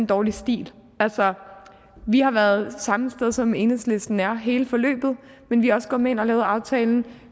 dårlig stil altså vi har været samme sted som enhedslisten er hele forløbet men vi er også gået med ind og lavet aftalen